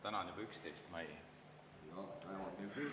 Täna on juba 11. mai.